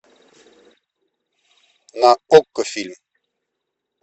на окко фильм